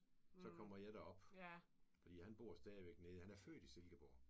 Så kommer jeg derop. Fordi han bor stadigvæk nede. Han er født i Silkeborg